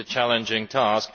it is a challenging task.